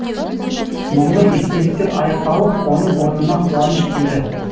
мұңлы естеліктер аяқталып оның орнына қуаныш келді